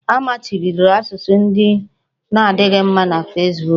A machibidoro asụsụ ndị na-adịghị mma na Fesbuku